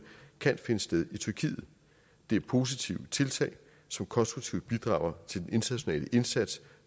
kan finde sted i tyrkiet det er positive tiltag som konstruktivt bidrager til den internationale indsats